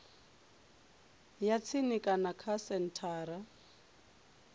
ya tsini kana kha senthara